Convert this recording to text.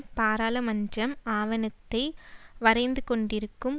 பாராளுமன்றம் ஆவணத்தை வரைந்துகொண்டிருக்கும்